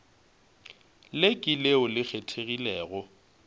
le ke leo le kgethegilego